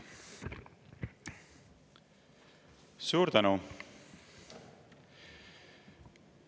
Suur tänu!